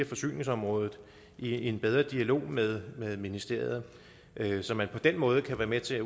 forsyningsområdet i en bedre dialog med ministeriet så man på den måde kan være med til